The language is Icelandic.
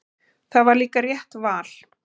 Það var líka rétt val.